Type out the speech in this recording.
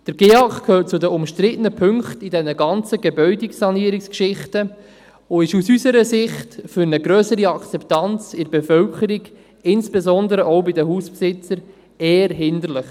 Der GEAK gehört zu den umstrittenen Punkten in diesen ganzen Gebäudesanierungsgeschichten und ist aus unserer Sicht für eine grössere Akzeptanz bei der Bevölkerung, insbesondere auch bei den Hausbesitzern, eher hinderlich.